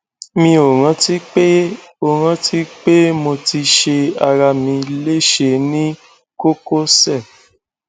mi ò rántí pé ò rántí pé mo ti ṣe ara mi léṣe ní kókósẹ